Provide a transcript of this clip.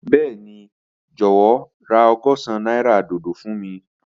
Bẹẹni, jọwọ ra ọgọ́sán naira dodo fun mi.